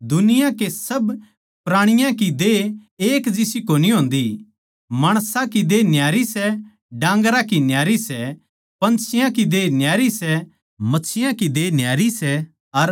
दुनिया के सब प्राणीयां की देह एक जिसी कोनी होन्दी माणसां की देह न्यारी सै डांगरां की न्यारी सै पंछियां की देह न्यारी सै मच्छियाँ की देह न्यारी सै